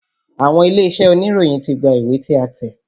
Àwọn ilé-iṣẹ́ oníròyìn ti gba ìwé tí a tẹ̀.